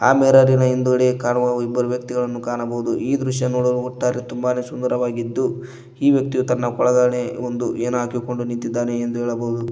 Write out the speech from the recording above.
ಆ ಮಿರರಿನ ಹಿಂದ್ಗಡೆ ಕಾಣುವ ಇಬ್ಬರು ವ್ಯಕ್ತಿಗಳನ್ನ ಕಾಣಬಹುದು ಈ ದೃಶ್ಯ ನೋಡಲು ಒಟ್ಟಾರೆ ತುಂಬಾನೆ ಸುಂದರವಾಗಿದ್ದು ಈ ವ್ಯಕ್ತಿ ತನ್ನ ಕೂಳಗಡೆ ಏನು ಹಾಕಿಕೊಂಡು ನಿಂತಿದ್ದಾನೆ ಎಂದು ಹೇಳಬಹುದು.